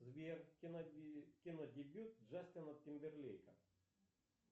сбер кинодебют джастина тимберлейка